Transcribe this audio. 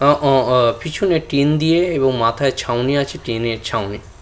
আহ ও অ পিছনে টিন দিয়ে এবং মাথায় ছাউনি আছে টিন এর ছাউনি।